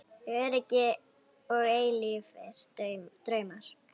Öryggi og eilífir draumar